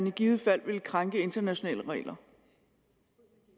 i givet fald vil krænke internationale regler